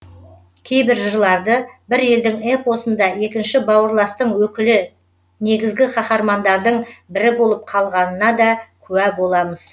кейбір жырларды бір елдің эпосында екінші бауырластың өкілі негізгі қаһармандардың бірі болып қалғанына да куә боламыз